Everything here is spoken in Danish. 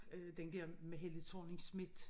Øh den dér med Helle Thorning-Schmidt